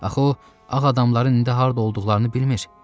Axı o ağ adamların indi harda olduqlarını bilmir.